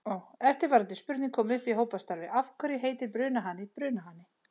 Eftirfarandi spurning kom upp í hópastarfi: Af hverju heitir brunahani brunahani?